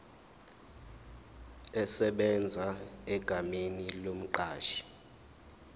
esebenza egameni lomqashi